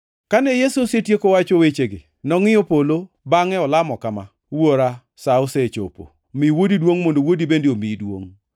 Kane Yesu osetieko wacho wechegi, nongʼiyo polo bangʼe olamo kama: “Wuora, sa osechopo. Mi Wuodi duongʼ mondo Wuodi bende omiyi duongʼ.